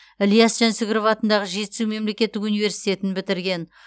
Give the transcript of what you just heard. ілияс жансүгіров атындағы жетісу мемлекеттік университетін бітірген